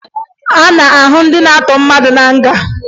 A na-ahụ ndị na-atọ mmadụ na nga